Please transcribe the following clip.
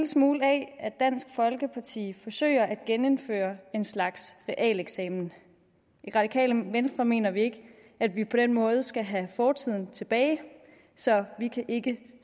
smule af at dansk folkeparti forsøger at genindføre en slags realeksamen i radikale venstre mener vi ikke at vi på den måde skal have fortiden tilbage så vi kan ikke